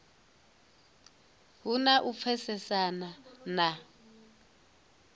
hu na u pfesesana na